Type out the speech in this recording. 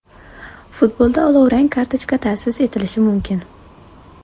Futbolda olovrang kartochka ta’sis etilishi mumkin.